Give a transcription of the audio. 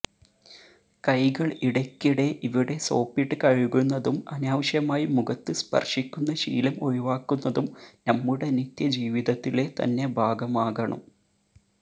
കൈകൾ ഇടയ്ക്കിടെ ഇവിടെ സോപ്പിട്ട് കഴുകുന്നതും അനാവശ്യമായി മുഖത്ത് സ്പർശിക്കുന്ന ശീലം ഒഴിവാക്കുന്നതും നമ്മുടെ നിത്യജീവിതത്തിലെ തന്നെ ഭാഗമാകണം